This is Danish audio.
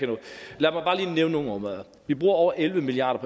jeg nogle områder vi bruger over elleve milliard